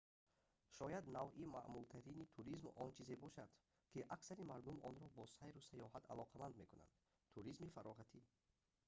шояд навъи маъмултарини туризм он чизе мебошад ки аксари мардум онро бо сайру сайёҳат алоқаманд мекунанд туризми фароғатӣ